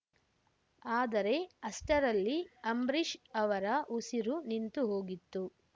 ಆದರೆ ಅಷ್ಟರಲ್ಲಿ ಅಂಬ್ರೀಷ್‌ ಅವರ ಉಸಿರು ನಿಂತು ಹೋಗಿತ್ತು